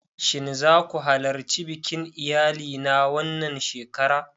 Shin za ku halarci bikin iyali na wannan shekara?